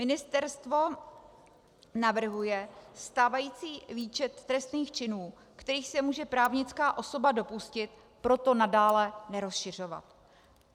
Ministerstvo navrhuje stávající výčet trestných činů, kterých se může právnická osoba dopustit, proto nadále nerozšiřovat.